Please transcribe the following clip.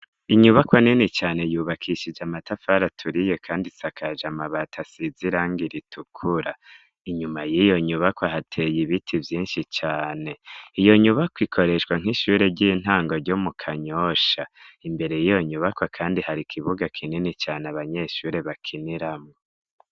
Inyubakwa nini cane, yubakishije amatafari turiye kandi isakaje amabati, asize irangi iritukura, inyuma y'iyo nyubakwa hateye ibiti vyinshi cane, iyo nyubakwa ikoreshwa nk'ishure ry'intango ryo mu Kanyosha, imbere y'iyo nyubakwa kandi hari ikibuga kinini cane abanyeshuri bakiniramwo.